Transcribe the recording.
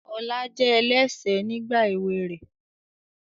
Ọlá jẹ́ ẹlẹ́ṣẹ̀ nígbà èwe rẹ̀